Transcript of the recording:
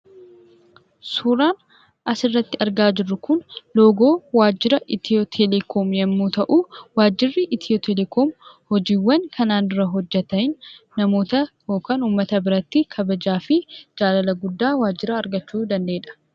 Suuraan asirratti argaa jirru kun loogoo waajjira eti'oo telekoom(ethio-telecom) yommuu ta'u, waajjiirri eti'oo telekoom hojiiwwan kanaan dura hojjeteen namoota yookaan uummata biratti kabajaa fi jaalala guddaa waajjira argachuu danda'edha.